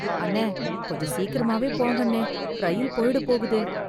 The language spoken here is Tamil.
அண்ணே, கொஞ்சம் சீக்கிரமாவே போங்கண்ணே, ரயில் போயிடப் போகுது.